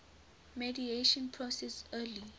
mediation process early